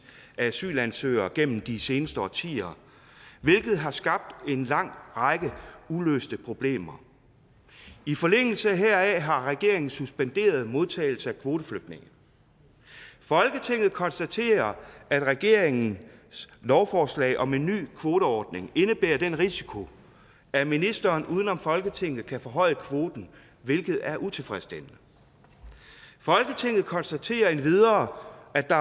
af asylansøgere gennem de seneste årtier hvilket har skabt en lang række uløste problemer i forlængelse heraf har regeringen suspenderet modtagelsen af kvoteflygtninge folketinget konstaterer at regeringens lovforslag om en ny kvoteordning indebærer den risiko at ministeren uden om folketinget kan forhøje kvoten hvilket er utilfredsstillende folketinget konstaterer endvidere at